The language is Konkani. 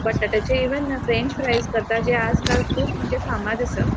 बटाटाचे ईवन फ्रेंच फ्राइस करतात जे आजकाल खूब मंजे फामाद आसा.